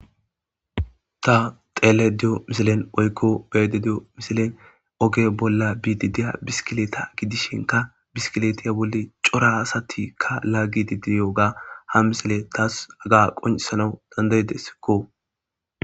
Ta xeelayda diyo misilen woy beyayida diyo misilen oge bolla biide diya biskkilita gidishinkka biskkilitiya bolli cora asatikka laagide de7iyoga ha misile tas haga qoccissanaw danddayideskko.